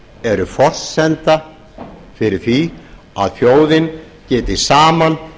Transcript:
eru forsenda fyrir því að þjóðin geti saman